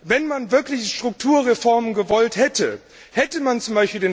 Wenn man wirkliche Strukturreformen gewollt hätte, hätte man z.